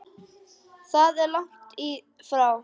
Það er langt í frá.